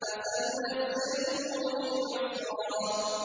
فَسَنُيَسِّرُهُ لِلْعُسْرَىٰ